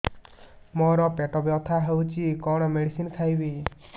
ମୋର ପେଟ ବ୍ୟଥା ହଉଚି କଣ ମେଡିସିନ ଖାଇବି